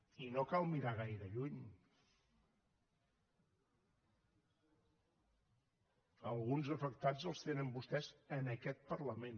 i no cal mirar gaire lluny alguns afectats els tenen vostès en aquest parlament